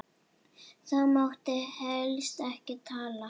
Þá mátti helst ekki tala.